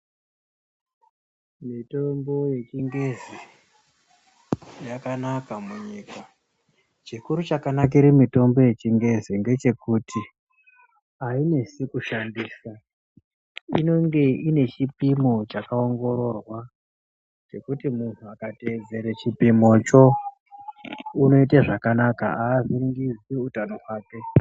Mitombo yechingezi yakanaka munyika. Chikuru chakanakire mitombo yechingezi ngechekuti ainesi kushandisa. Inenge ine chipimo chakaongororwa chekuti muntu akatedzere chipimocho unoite zvakanaka avhiringidzi utano hwake.